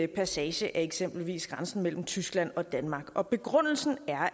passage af eksempelvis grænsen mellem tyskland og danmark og begrundelsen er